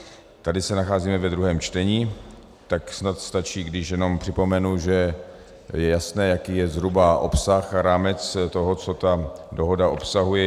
Tady se nacházíme ve druhém čtení, tak snad stačí, když jenom připomenu, že je jasné, jaký je zhruba obsah, rámec toho, co ta dohoda obsahuje.